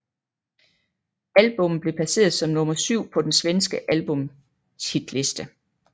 Albummet blev placeret som nummer syv på den svenske albumshitliste